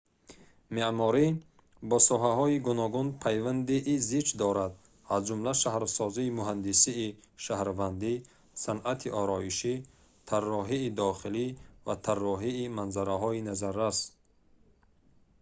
меъморӣ бо соҳаҳои гуногун пайвандии зич дорад аз ҷумла шаҳрсозӣ муҳандисии шаҳрвандӣ санъати ороишӣ тарроҳии дохилӣ ва тарроҳии маназараҳои назаррас